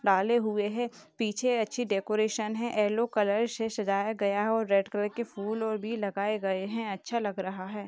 डाले हुए है। पीछे अच्छी डेकोरेशन है। येलो कलर से सजाया हुआ है और रेड कलर के फूल और भी लगाए गए है। अच्छा लग रहा है।